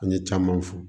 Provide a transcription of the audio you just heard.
An ye camanw fɔ